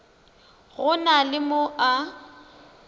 go na le mo a